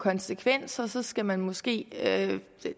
konsekvenser så skal man måske